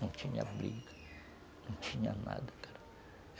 Não tinha briga, não tinha nada, cara.